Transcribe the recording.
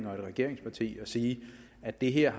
regeringsparti at sige at det her